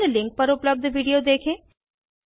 निम्न लिंक पर उपलब्ध वीडियो देखें